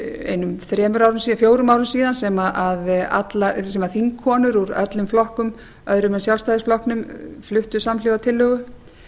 einum fjórum árum síðan sem þingkonur úr öllum flokkum öðrum en sjálfstæðisflokknum fluttu samhljóða tillögu